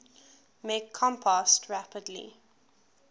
make compost rapidly